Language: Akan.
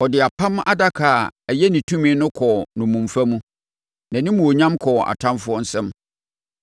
Ɔde Apam Adaka a ɛyɛ ne tumi no kɔɔ nnommumfa mu, nʼanimuonyam kɔɔ atamfoɔ nsam.